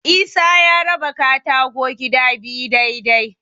Isa ya raba katako gida biyu dai-dai.